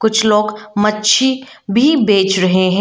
कुछ लोग मच्छी भी बेच रहे हैं।